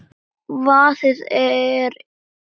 Vaðið er yfir hina.